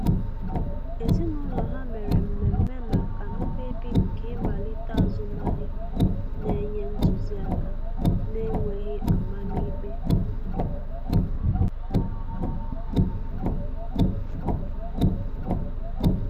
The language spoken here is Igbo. Ezinụlọ ha mere mmeme maka mkpebi nke ịmalite azụmahịa, na-enye ntụzi aka na-enweghi amam ikpe.